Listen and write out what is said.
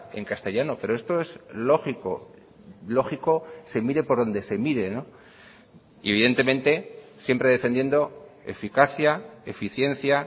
en castellano pero esto es lógico lógico se mire por donde se mire y evidentemente siempre defendiendo eficacia eficiencia